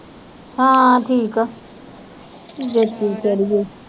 ਹਾਂ ਠੀਕ ਆ ਜੋਤੀ ਵਿਚਾਰੀ